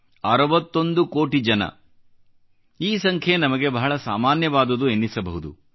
61 ಕೋಟಿ ಜನ ಈ ಸಂಖ್ಯೆ ನಮಗೆ ಬಹಳ ಸಾಮಾನ್ಯವಾದುದೆನ್ನಿಸಬಹುದು